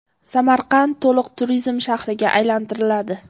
Samarqand to‘liq turizm shahriga aylantiriladi.